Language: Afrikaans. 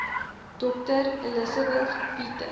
dr elizabeth peter